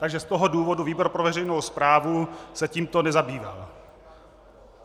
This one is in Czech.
Takže z toho důvodu výbor pro veřejnou správu se tímto nezabýval.